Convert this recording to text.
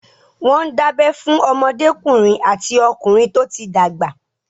Wọ́n ń dábẹ́ fún ọmọdékùnrin àti okùnrin tó ti dàgbà.